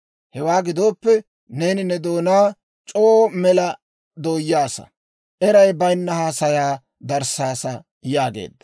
Hewaa gidooppe, neeni ne doonaa c'oo mela dooyyasa; eray bayinna haasayaa darissaasa» yaageedda.